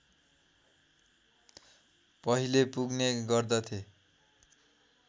पहिले पुग्ने गर्दथे